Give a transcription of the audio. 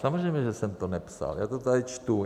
Samozřejmě že jsem to nepsal, já to tady čtu.